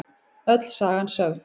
Öll sagan sögð